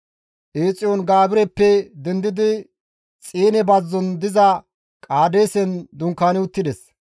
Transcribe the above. Eexiyoon-Gaabireppe dendidi Xiine bazzon diza Qaadeesen dunkaani uttides.